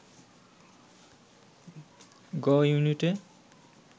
গ-ইউনিটে